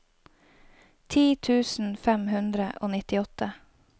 ti tusen fem hundre og nittiåtte